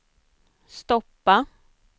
stoppa